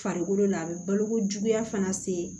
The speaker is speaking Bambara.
Farikolo la a bɛ baloko juguya fana se